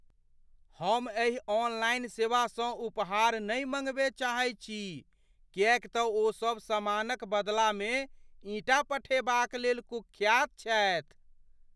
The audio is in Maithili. हम एहि ऑनलाइन सेवासँ उपहार नहि मँगबय चाहैत छी किएक तँ ओ सब समानक बदलामे ईंटा पठेबाक लेल कुख्यात छथि।